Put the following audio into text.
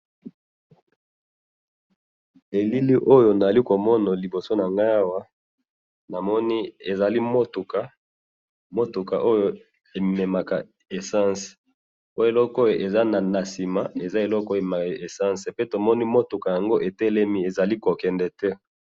Elili oyo nazali komona liboso na ngai awa, namoni ezali mutuka, mutuka oyo ememaka essence, po eloko oyo eza na sima, eza eloko oyo ememaka essence, pe to moni mutuka yango etelemi ezali ko kende te